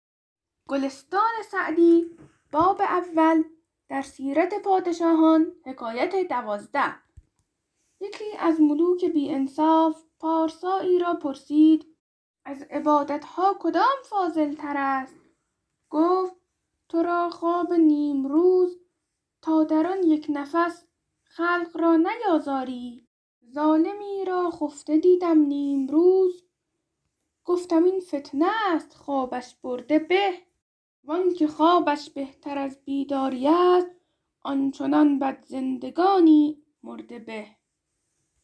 یکی از ملوک بی انصاف پارسایی را پرسید از عبادت ها کدام فاضل تر است گفت تو را خواب نیمروز تا در آن یک نفس خلق را نیازاری ظالمی را خفته دیدم نیمروز گفتم این فتنه است خوابش برده به وآنکه خوابش بهتر از بیداری است آن چنان بد زندگانی مرده به